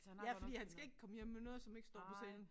Ja fordi han skal ikke komme hjem med noget som ikke står på sedlen